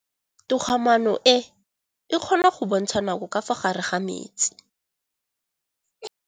Toga-maanô e, e kgona go bontsha nakô ka fa gare ga metsi.